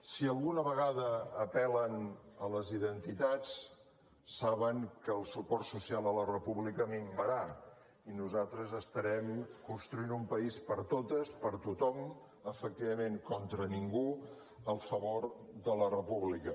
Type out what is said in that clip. si alguna vegada apel·len a les identitats saben que el suport social a la república minvarà i nosaltres estarem construint un país per a totes per a tothom efectivament contra ningú en favor de la república